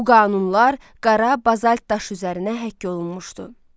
Bu qanunlar qara bazalt daşı üzərinə həkk olunmuşdu.